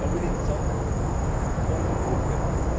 We need someone to cooperate with.